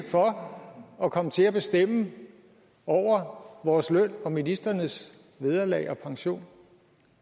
for at komme til at bestemme over vores løn og ministrenes vederlag og pension